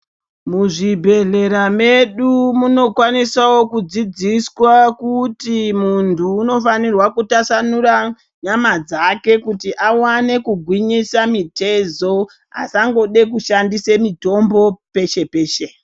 Muzvibhehlera medu munokwanisawo kudzidziswa kuti munhu unofanirwa kutasanura nyama dzake kuti awane kugwinyisa mitezo asangode kushandise mitombo peshe-peshe.